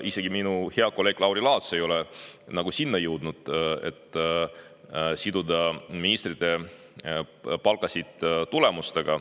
Isegi minu hea kolleeg Lauri Laats ei ole jõudnud selleni, et siduda ministrite palgad tulemustega.